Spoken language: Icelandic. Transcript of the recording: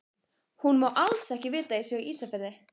Hún má alls ekki vita að ég sé á Ísafirði!